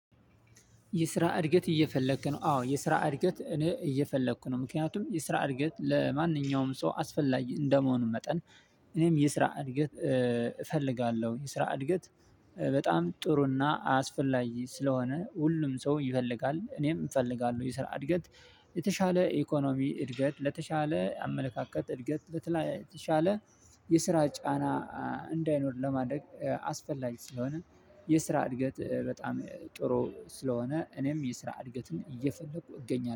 የስራ እድገት እየፈለግክ ነው? አዎ የስራ እድገት እኔ እየፈለግኩ ነው ምክንያቱም የስራ እድገት ለማንኛውም ሰው አስፈላጊ እንደመሆኑ መጠን እኔም የስራ እድገት እፈልጋለሁ። የስራ እድገት በጣም ጥሩና አስፈላጊ ስለሆነ ሁሉም ሰው ይፈልጋል። እኔም እፈልጋለሁ የስራ እድገት የተሻለ ኢኮኖሚ እድገት ለተሻለ አመለካከት እድገት። ለተሻለ የስራ ጫና እንዳይኖር ለማድረግ አስፈላጊ ስለሆነ የስራ እድገት በጣም ጥሩ ስለሆነ እኔም የስራ እድገትን እየፈለኩ እገኛለሁ